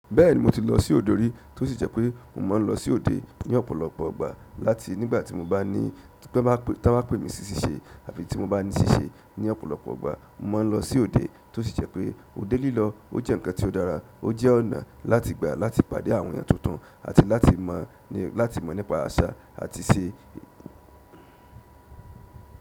Bẹ́ẹ̀ni mo ti lọ sí òde rí, tó sì jẹ́ pé mò máa ń lọ sí òde ní ọ̀pọ̀lọpọ̀ ìgbà láti nígbà tí mo bá ní t'ọ́n bá pè mí sí ṣíṣe àbí tí mo bá ní ṣíṣe ní ọ̀pọ̀lọpọ̀ ìgbà. Mo máa ń lọ sí òde tó sì jẹ́ pé òde lílọ ó jẹ́ ǹkan tí ó dára, ó jẹ́ ọ̀nà láti gbà láti pàdé àwọn èèyàn tuntun àti láti mọ̀ ní láti mọ̀ nípa àṣà àti ṣe.